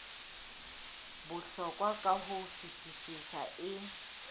bohlokwa ka ho fetisisa e